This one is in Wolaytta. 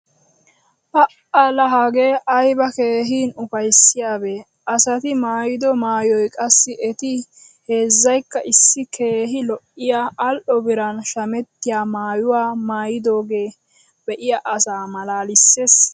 Pa"a laa hagee ayba keehin ufayssiyaabee! Asati maayido maayoy qassi eti heezzaykka issi keehi lo'iya al"o biran shamettiya maayuwa maayidoogee be'iya asaa malaalissees.